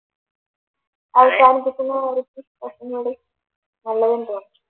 അവസാനിപ്പിക്കുന്ന